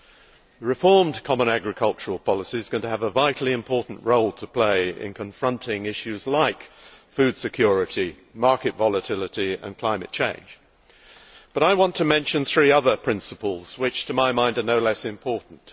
The reformed common agricultural policy is going to have a vitally important role to play in confronting issues like food security, market volatility and climate change, but I want to mention three other principles which, to my mind, are no less important.